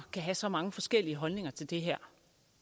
kan have så mange forskellige holdninger til det her